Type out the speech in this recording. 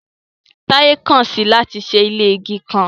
Taye kan si i lati ṣe ile igi kan